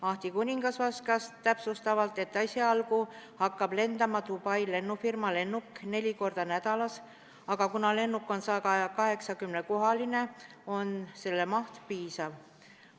Ahti Kuningas vastas, et esialgu hakkab Dubai lennufirma lennuk lendama neli korda nädalas, aga see lennuk on 180-kohaline ja sellest mahust piisab.